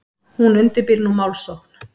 Hún undirbýr nú málsókn.